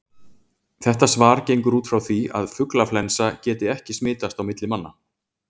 Þetta svar gengur út frá því að fuglaflensa geti ekki smitast á milli manna.